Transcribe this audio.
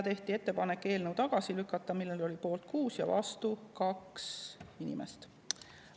Tehti ettepanek eelnõu tagasi lükata, mille poolt oli 6 ja vastu 2 inimest.